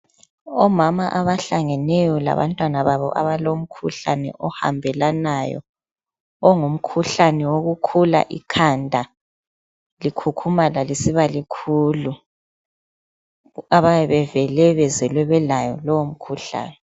Omama abahlangeneyo labantwana babo abalomkhuhlane ohambelanayo ongumkhuhlane wokukhula ikhanda likhukhumala lisiba likhuku abayabe bevele bezelwe belayo lowo mkhuhlane.